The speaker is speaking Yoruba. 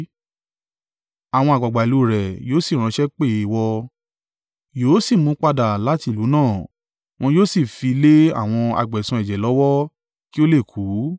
àwọn àgbàgbà ìlú rẹ yóò sì ránṣẹ́ pè é ìwọ, yóò sì mú un padà láti ìlú náà, wọn yóò sì fi í lé àwọn agbẹ̀san ẹ̀jẹ̀ lọ́wọ́ kí ó lè kú.